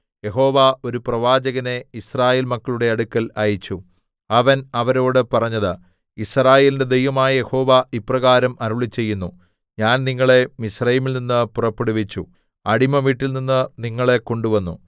യഹോവ ഒരു പ്രവാചകനെ യിസ്രായേൽ മക്കളുടെ അടുക്കൽ അയച്ചു അവൻ അവരോട് പറഞ്ഞത് യിസ്രായേലിന്റെ ദൈവമായ യഹോവ ഇപ്രകാരം അരുളിച്ചെയ്യുന്നു ഞാൻ നിങ്ങളെ മിസ്രയീമിൽനിന്ന് പുറപ്പെടുവിച്ചു അടിമവീട്ടിൽനിന്ന് നിങ്ങളെ കൊണ്ടുവന്നു